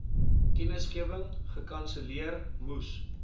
kennisgewing gekanselleer moes